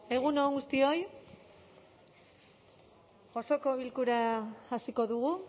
egun on guztioi osoko bilkura hasiko dugu